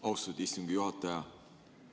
Austatud istungi juhataja!